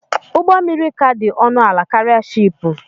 Ụgbọ mmiri kà dị ọnụ ala karịa shị́ị́pù